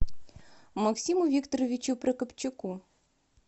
максиму викторовичу прокопчуку